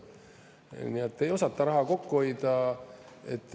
Nii et ei osata raha kokku hoida.